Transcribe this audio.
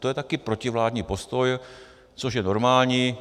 To je také protivládní postoj, což je normální.